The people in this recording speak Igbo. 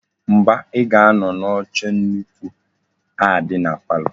Mba, I ga-ano n'oche nnukwu a di na palo.